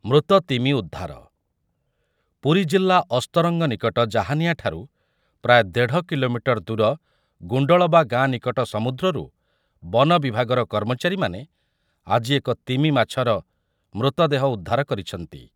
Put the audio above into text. ମୃତ ତିମି ଉଦ୍ଧାର, ପୁରୀଜିଲ୍ଲା ଅସ୍ତରଙ୍ଗ ନିକଟ ଜାହାନିଆ ଠାରୁ ପ୍ରାୟ ଦେଢ଼ କିଲୋମିଟର ଦୂର ଗୁଣ୍ଡଳବା ଗାଁ ନିକଟ ସମୁଦ୍ରରୁ ବନ ବିଭାଗର କର୍ମଚାରୀମାନେ ଆଜି ଏକ ତିମି ମାଛର ମୃତଦେହ ଉଦ୍ଧାର କରିଛନ୍ତି ।